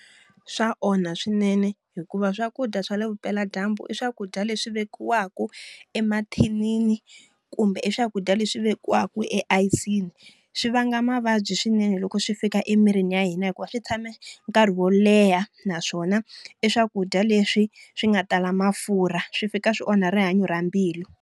Swa onha swinene hikuva swakudya swa le vupeladyambu i swakudya leswi vekiwaka emathinini kumbe i swakudya leswi vekiwaka e ayisini. Swi vanga mavabyi swinene loko swi fika emirini ya hina hikuva swi tshame nkarhi wo leha, naswona i swakudya leswi swi nga tala mafurha. Swi fika swi onha rihanyo ra mbilu.